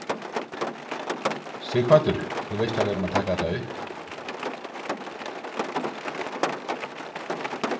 Sighvatur: Þú veist að við erum að taka þetta upp?